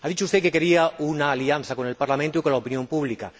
Ha dicho usted que quería una alianza con el Parlamento y con la opinión pública.